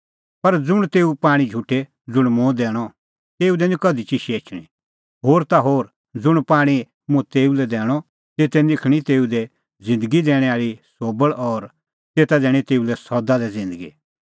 पर ज़ुंण तेऊ पाणीं झुटे ज़ुंण मुंह दैणअ तेऊ निं कधि चिशै एछणी होर ता होर ज़ुंण पाणीं मुंह तेऊ लै दैणअ तेते निखल़णीं तेऊ दी ज़िन्दगी दैणैं आल़ी सोबल़ और तेता दैणीं तेऊ लै सदा लै ज़िन्दगी